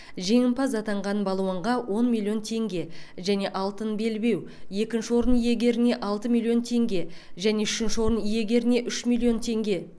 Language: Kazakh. жеңімпаз атанған балуанға он миллион теңге және алтын белбеу екінші орын иегеріне алты миллион теңге және үшінші орын иегеріне үш миллион теңге